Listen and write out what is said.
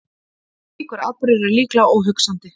Slíkur atburður er líklega óhugsandi.